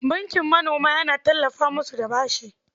Bankin manoma yana tallafa musu da bashi.